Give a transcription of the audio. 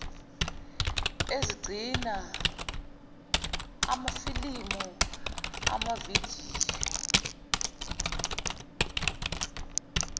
ezigcina amafilimu amavidiyo